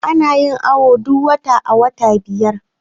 ana yin awo duk wata a wata biyar